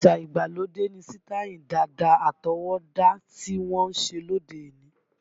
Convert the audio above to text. Àṣá ìgbàlódé ni sítáì dàda àtọwọ́dá tí wọ́n ń ṣe lóde òní